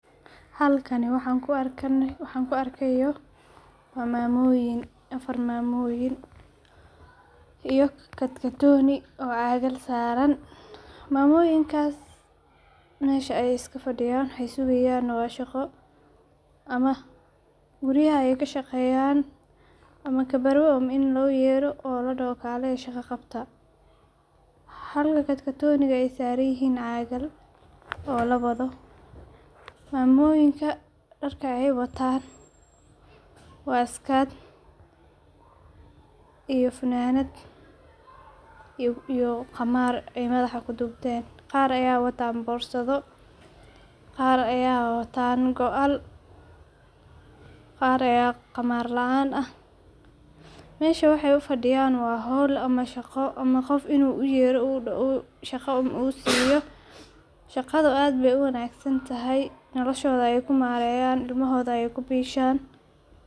Halkani waxan kuuarkayo waa mamoyin, afar mamoyin iyo katkatoni oo cagal saran mamoyinkasi mesha ayay iskafadiyan, waxay sugayan waa shaqo ama guriya ayay kashaqeyan, ama kaberwo ini loyero ladoho kaliya shaqa qabta, halka katkotoniga aay saranyihin cagal oo lawado, mamoyinka darka ay watan waa skirt, iyo fananad iyo qamar aay madaxa kudubten, qaar aya watan borsado qar aya watan go'aal, qar aya qamar laan ah, mesha waxay ufadiyan waa hol ama shaqo qoof inu uyero shaqa uun usiyo, shaqada aad bay uwagsntahay noloshoda ayay kumareyan ilmahoda ayay kubishan.